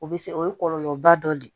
O bɛ se o ye kɔlɔlɔba dɔ de ye